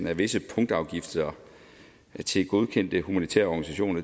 af visse punktafgifter til godkendte humanitære organisationer